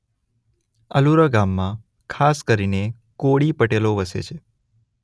અલુરા ગામમાં ખાસ કરીને કોળી પટેલો વસે છે.